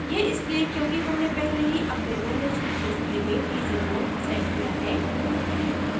यह इसलिए क्योंकि हमने पहले ही अपने manage display में teaser mode set किया है